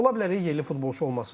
Ola bilər yerli futbolçu olmasın.